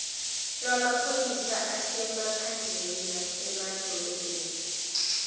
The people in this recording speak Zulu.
lwamaphoyisa asemaphandleni nasemadolobheni